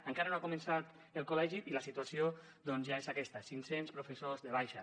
encara no ha començat el col·legi i la situació doncs ja és aquesta cinc cents professors de baixa